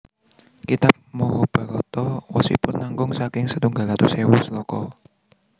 Kitab Mahabharata wosipun langkung saking setunggal atus ewu sloka